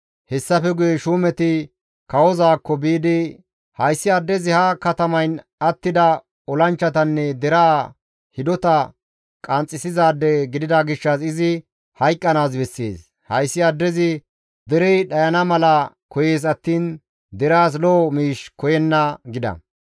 Hessafe guye shuumeti kawozaakko biidi, «Hayssi addezi ha katamayn attida olanchchatanne deraa hidota qanxxisizaade gidida gishshas izi hayqqanaas bessees; hayssi addezi derey dhayana mala koyees attiin deraas lo7o miish koyenna» gida.